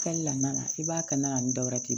Kɛli la i b'a kɛ na ni dɔwɛrɛ ye